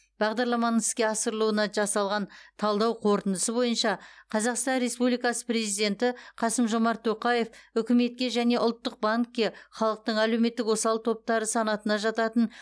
бағдарламаның іске асырылуына жасалған талдау қорытындысы бойынша қазақстан республикасы президенті қасым жомарт тоқаев үкіметке және ұлттық банкке халықтың әлеуметтік осал топтары санатына жататын